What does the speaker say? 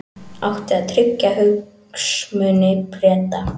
Átti að tryggja hagsmuni Breta